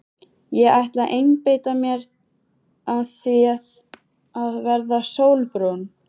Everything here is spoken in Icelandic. Ég ætla að einbeita mér að því að verða sólbrún.